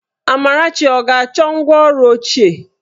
Amarachi ọ ga-achọ ngwá ọrụ ochie?